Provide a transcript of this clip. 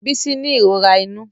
Bisí ní ìròrà inu.